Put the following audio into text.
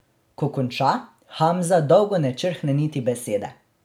Ko konča, Hamza dolgo ne črhne niti besede.